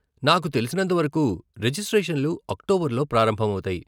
నాకు తెలిసినంతవరకు రెజిస్ట్రేషన్లు అక్టోబర్ లో ప్రారంభమవుతాయి .